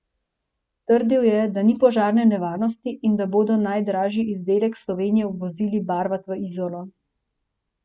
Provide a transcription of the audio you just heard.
Trdil je, da ni požarne nevarnosti in da bodo najdražji izdelek Slovenije vozili barvat v Izolo.